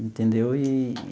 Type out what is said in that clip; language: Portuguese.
Entendeu? Eee.